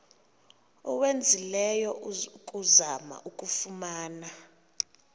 owenzileyo ukuzama ukuyifumana